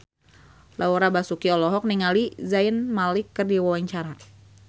Laura Basuki olohok ningali Zayn Malik keur diwawancara